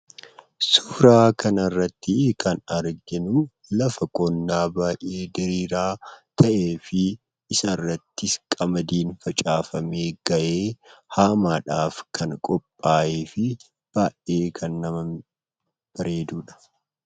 Suuraa kana irratti kan arginu, lafa qonnaa baay'ee diriiraa ta'ee fi isa irrattis qamadiin facaafamee gahee, haamaadhaaf kan qophaa'ee fi baay'ee kan bareeduudha.